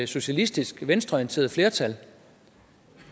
socialistisk et venstreorienteret flertal